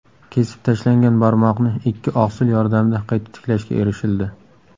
Kesib tashlangan barmoqni ikki oqsil yordamida qayta tiklashga erishildi.